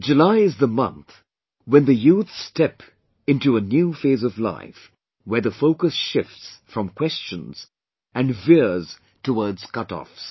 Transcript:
July is the month when the youth step into a new phase of life, where the focus shifts from questions and veers towards cutoffs